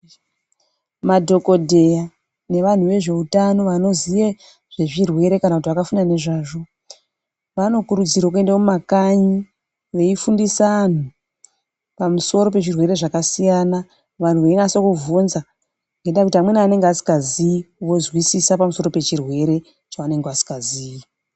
Madhokodheya nevanhu vezveutano vanoziye zvezvirwere kana kuti akafunda nezvazvo vanokurudzirwa kuende mumakanyi veifundisa anhu pamusoro pezvirwere zvakasiyana vanhu veinase kubvunza ngendayekuti amweni anenge asingazi vozwisisa pamusoro pechirwere chavanenge vasingaziyi.